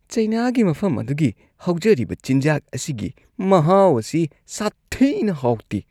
ꯆꯩꯅꯥꯒꯤ ꯃꯐꯝ ꯑꯗꯨꯒꯤ ꯍꯧꯖꯔꯤꯕ ꯆꯤꯟꯖꯥꯛ ꯑꯁꯤꯒꯤ ꯃꯍꯥꯎ ꯑꯁꯤ ꯁꯥꯊꯤꯅ ꯍꯥꯎꯇꯦ ꯫